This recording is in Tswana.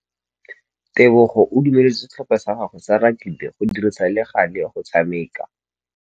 Tebogô o dumeletse setlhopha sa gagwe sa rakabi go dirisa le galê go tshameka.